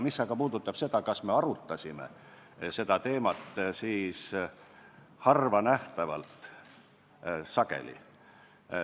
Mis aga puudutab seda, kas me seda teemat arutasime, siis harvanähtavalt pikalt.